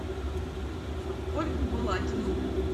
ольгу балакину